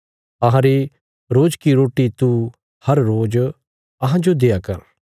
अहांरी रोज की रोटी तू हर रोज अहांजो देआ कर